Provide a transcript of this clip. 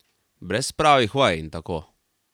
Brez pravih vaj in tako.